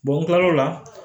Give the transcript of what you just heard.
u kilal'o la